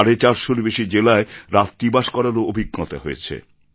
সাড়ে চারশোর বেশি জেলায় রাত্রিবাস করারও অভিজ্ঞতা হয়েছে